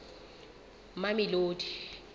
mamelodi